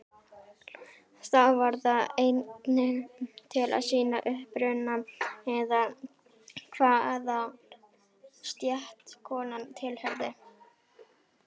Þá var það einnig til að sýna uppruna eða hvaða stétt konan tilheyrði.